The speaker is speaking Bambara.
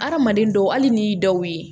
Hadamaden dɔw hali n'i y'i dɔw ye